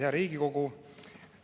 Hea Riigikogu!